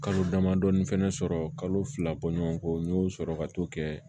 Kalo damadɔni fɛnɛ sɔrɔ kalo fila bɔɲɔgɔnko n y'o sɔrɔ ka t'o kɛ